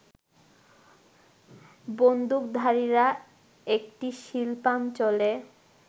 বন্দুকধারীরা একটি শিল্পাঞ্চলে